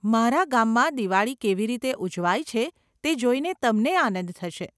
અમારા ગામમાં દિવાળી કેવી રીતે ઉજવાય છે તે જોઈને તમને આનંદ થશે.